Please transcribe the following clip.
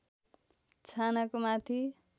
छानाको माथि